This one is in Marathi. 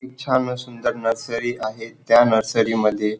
खूप छान व सुंदर नर्सरी आहे त्या नर्सरी मध्ये--